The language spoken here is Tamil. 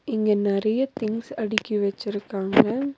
இங்க நெறையா திங்ஸ் அடுக்கி வச்சுருக்காங்க.